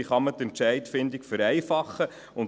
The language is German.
Wie kann man die Entscheidungsfindung vereinfachen?